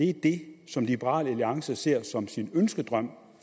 er det som liberal alliance ser som sin ønskedrøm